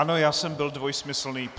Ano, já jsem byl dvojsmyslný.